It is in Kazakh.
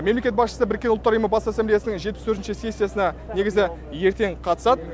мемлекет басшысы біріккен ұлттар ұйымы бас ассамблеясының жетпіс төртінші сессиясына негізі ертең қатысады